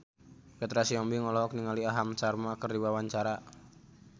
Petra Sihombing olohok ningali Aham Sharma keur diwawancara